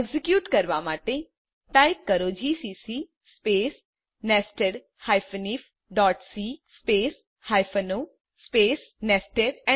execute કરવા માટે type કરો જીસીસી સ્પેસ nested ifસી space hyphen o space nested